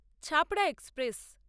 Chhapra express